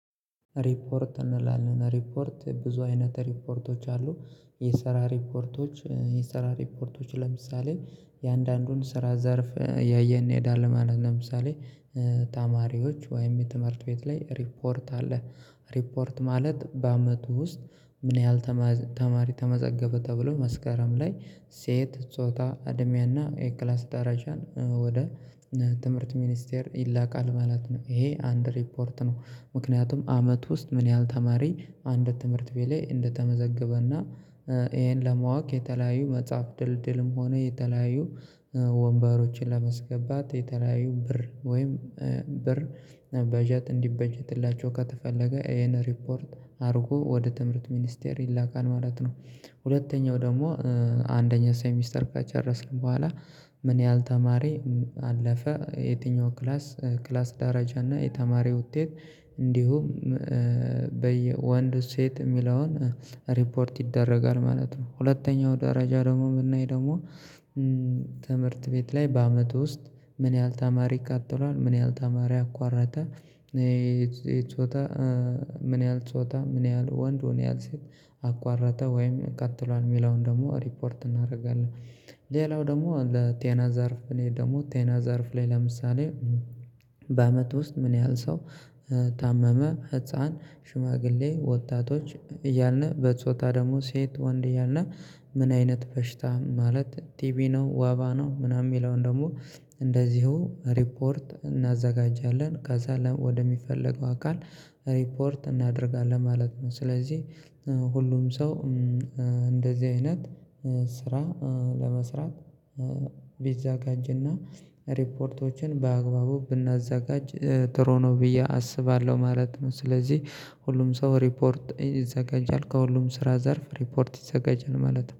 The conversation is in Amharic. ሪፖርት እንላለን፣ ሪፖርት ብዙ አይነት ሪፖርቶች አሉ። የሰራ ሪፖርቶች፣ የሰራ ሪፖርቶች ለምሳሌ የአንዳንዱን ስራ ዘርፍ እያየን ይሄዳል ማለት ነው። ለምሳሌ ተማሪዎች ወይም የትምህርት ቤት ላይ ሪፖርት አለ። ሪፖርት ማለት በአመቱ ውስጥ ምን ያህል ተማሪ ተመዘገበ ተብሎ መስካረም ላይ ሴት፣ ጾታ፣ አድሜያና የክላስ ደረጃን ወደ ትምህርት ሚኒስቴር ይላካል ማለት ነው። ይሄ አንድ ሪፖርት ነው። ምክንያቱም አመት ውስጥ ምን ያህል ተማሪ አንድ ትምህርት ቤት ላይ እንደተመዘገበና ይሄን ለማወቅ የተለያዩ መጽሐፍ ድልድልም ሆነ የተለያዩ ወንበሮችን ለመስገባት የተለያዩ ብር ወይም ብር በጀት እንዲበጀትላቸው ከተፈለገ ይሄን ሪፖርት አድርጎ ወደ ትምህርት ሚኒስቴር ይላካል ማለት ነው። ሁለተኛው ደግሞ አንደኛ ሳይ ሚስተር ከጨረስን በኋላ ምን ያህል ተማሪ አለፈ? የትኛው ክላስ፣ ክላስ ደረጃ እና የተማሪ ውጤት፣ እንዲሁም በየ ወንድ ሴት የሚለውን ሪፖርት ይደረጋል ማለት ነው። ሁለተኛው ደረጃ ደግሞ የምናይ ደግሞ ትምህርት ቤት ላይ በአመቱ ውስጥ ምን ያህል ተማሪ ቀጥሏል? ምን ያህል ተማሪ አቋረጠ? ምን ያህል ጾታ፣ ምን ያህል ወንድ፣ ምን ያህል ሴት አቋረጠ? ወይም ቀጥሏል? የሚለውን ደግሞ ሪፖርት እናደርጋለን። ሌላው ደግሞ ለጤና ዛርፍ ላይ ደግሞ ጤና ዘርፍ ላይ ለምሳሌ በአመት ውስጥ ምን ያህል ሰው ታመመ? ህፃን? ሽማግሌ? ወጣቶች? እያልን በጾታ ደግሞ ሴት፣ ወንድ እያልን ምን አይነት በሽታ? ማለት ቲቪ ነው ወባ ነው ምናምን የሚለውን ደግሞ እንደዚሁ ሪፖርት እናዘጋጃለን። ከዛ ወደሚፈለገው አካል ሪፖርት እናደርጋለን ማለት ነው። ስለዚህ ሁሉም ሰው እንደዚህ አይነት ስራ ለመስራት ቢዛጋጅና ሪፖርቶችን በአግባቡ ብናዘጋጅ ጥሩ ነው ብዬ አስባለሁ ማለት ነው። ስለዚህ ሁሉም ሰው ሪፖርት ይዘጋጃል፣ ከሁሉም ስራ ዘርፍ ሪፖርት ይዘጋጃል ማለት ነው።